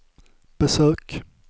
besök